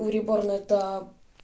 уреборн это